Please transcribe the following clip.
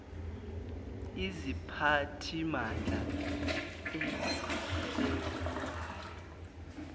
iziphathimandla ezihl elayo